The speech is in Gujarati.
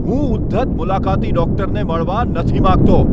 હું ઉદ્ધત મુલાકાતી ડૉક્ટરને મળવા નથી માંગતો.